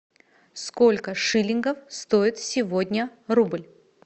сколько шиллингов стоит сегодня рубль